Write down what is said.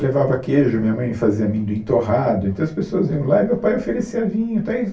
Levava queijo, minha mãe fazia amendoim torrado, então as pessoas iam lá e meu pai oferecia vinho